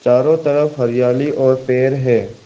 चारों तरफ हरियाली और पेड़ हैं।